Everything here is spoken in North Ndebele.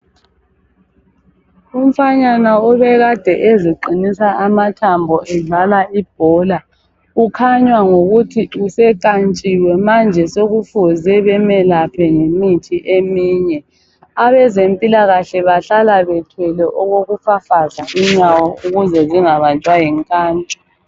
Umfanyana obekade eziqinisa amathambo edlala ibhola ukhanya ngokuthi usekantshiwe sokufuze bemelaphe ngemithi eminye abezempilakahle bahlale bethwele okokufafaza inyawo ukuze zingabanjwa yinkantsho